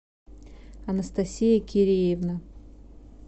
анастасия киреевна